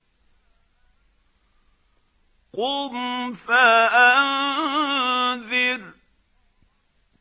قُمْ فَأَنذِرْ